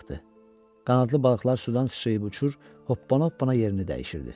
Qanadlı balıqlar sudan sıçrayıb uçur, hoppana-hoppana yerini dəyişirdi.